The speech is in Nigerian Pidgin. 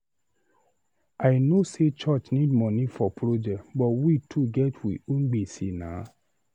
I know sey church need moni for project but we too get we own gbese na.